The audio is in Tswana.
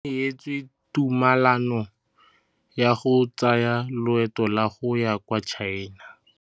O neetswe tumalanô ya go tsaya loetô la go ya kwa China.